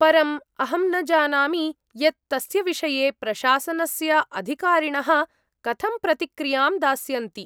परम् अहं न जानामि यत् तस्य विषये प्रशासनस्य अधिकारिणः कथं प्रतिक्रियां दास्यन्ति।